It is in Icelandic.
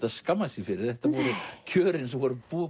að skammast sín fyrir þetta voru kjörin sem voru búin